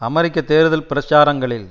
அமெரிக்க தேர்தல் பிரச்சாரங்களில்